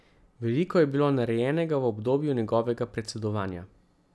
Veliko je bilo narejenega v obdobju njegovega predsedovanja.